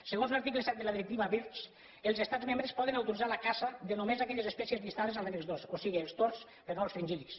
segons l’article set de la directiva birds els estats membres poden autoritzar la caça de només aquelles espècies llistades a l’annex dos o sigui els tords però no els fringíl·lids